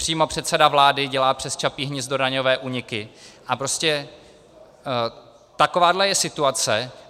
Přímo předseda vlády dělá přes Čapí hnízdo daňové úniky a prostě takováhle je situace.